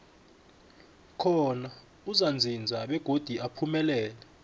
khona uzakuzinza begodi uphumelele